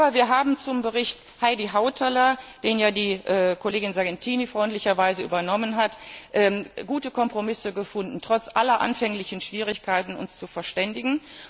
Aber wir haben zum Bericht Heidi Hautala, den die Kollegin Sargentini freundlicherweise übernommen hat, gute Kompromisse gefunden, trotz aller anfänglichen Schwierigkeiten, uns zu verständigen.